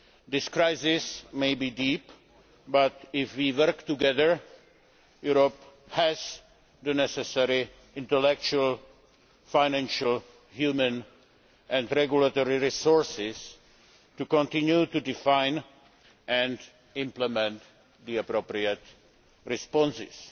This crisis may be deep, but if we work together, Europe has the necessary intellectual, financial, human and regulatory resources to continue to define and implement the appropriate responses.